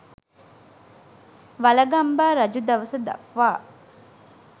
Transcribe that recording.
වළගම්බා රජු දවස දක්වා